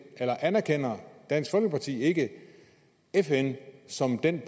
anerkender dansk folkeparti ikke fn som den